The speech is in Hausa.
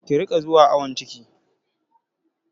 Ki riƙa zuwa awon ciki!